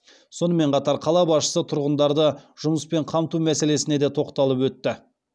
сонымен қатар қала басшысы тұрғындарды жұмысмен қамту мәселесіне де тоқталып өтті